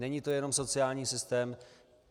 Není to jenom sociální systém.